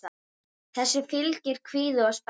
Þessu fylgir kvíði og spenna.